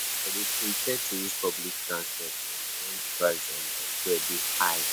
I dey prefer to use public transport um wen di price um of fuel dey high.